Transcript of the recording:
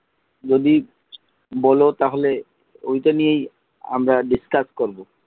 যদি বল তাহলে ওইটা নিয়েই আমরা discuss করবো।